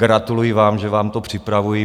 Gratuluji vám, že vám to připravují.